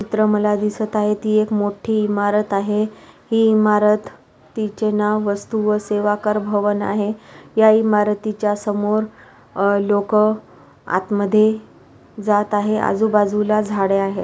चित्र मला दिसत आहे ती एक मोठी इमारत आहे ही इमारत तिचे नाव वस्तु व सेवाकर भवन आहे या इमारतीच्या समोर ह लोकं आतमध्ये जात आहे. आजूबाजूला झाडे आहे.